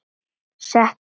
Settu nú